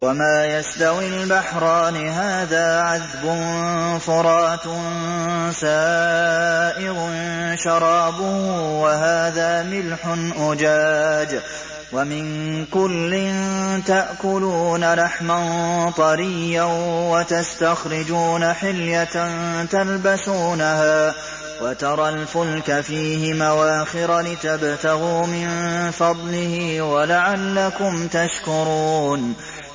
وَمَا يَسْتَوِي الْبَحْرَانِ هَٰذَا عَذْبٌ فُرَاتٌ سَائِغٌ شَرَابُهُ وَهَٰذَا مِلْحٌ أُجَاجٌ ۖ وَمِن كُلٍّ تَأْكُلُونَ لَحْمًا طَرِيًّا وَتَسْتَخْرِجُونَ حِلْيَةً تَلْبَسُونَهَا ۖ وَتَرَى الْفُلْكَ فِيهِ مَوَاخِرَ لِتَبْتَغُوا مِن فَضْلِهِ وَلَعَلَّكُمْ تَشْكُرُونَ